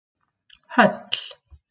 Höll